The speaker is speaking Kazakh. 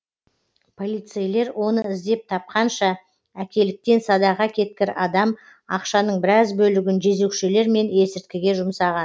полицейлер оны іздеп тапқанша әкеліктен садаға кеткір адам ақшаның біраз бөлігін жезөкшелер мен есірткіге жұмсаған